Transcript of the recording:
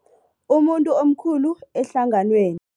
Umuntu omkhulu ehlanganweni.